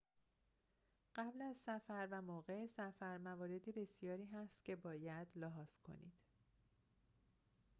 قبل از سفر و موقع سفر موارد بسیاری هست که باید لحاظ کنید